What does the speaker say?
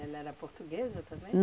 Ela era portuguesa também?